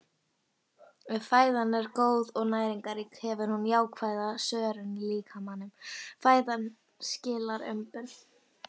Ef fæðan er góð og næringarrík gefur hún jákvæða svörun í líkamanum- fæðan skilar umbun.